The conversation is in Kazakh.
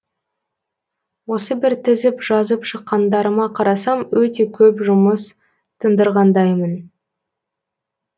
осы бір тізіп жазып шыққандарыма қарасам өте көп жұмыс тындырғандаймын